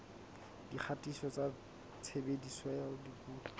dikgatiso tsa tshebediso ya dipuo